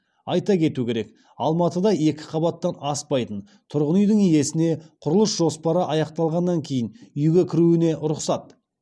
айта кету керек алматыда екі қабаттан аспайтын тұрғын үйдің иесіне құрылыс жоспары аяқталғаннан кейін үйге кіруіне рұқсат